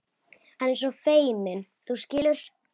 Hann er svo feiminn, þú skilur.